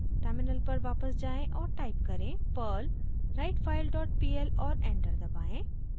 terminal पर वापस जाएँ और टाइप करें: perl writefile dot pl और एंटर दबाएं